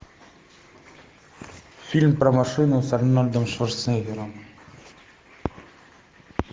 фильм про машину с арнольдом шварценеггером